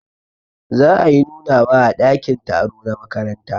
Za ayi nunawa a dakin taro na makaranta.